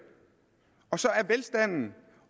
og så er velstanden